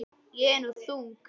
Ég er nú þung.